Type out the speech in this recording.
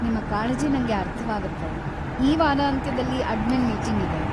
ನಿಮ್ಮ ಕಾಳಜಿ ನಂಗೆ ಅರ್ಥವಾಗತ್ತೆ, ಈ ವಾರಾಂತ್ಯದಲ್ಲಿ ಅಡ್ಮಿನ್‌ ಮೀಟಿಂಗ್‌ ಇದೆ.